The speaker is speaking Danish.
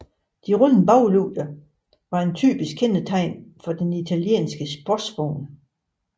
De runde baglygter var et typisk kendetegn for den italienske sportsvogn